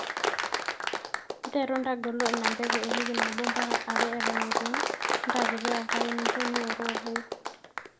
nterru ntagolo ina mbegu ewiki nabo mbaka are eton eitu iun intaakiti enkare ninjo niworu oloip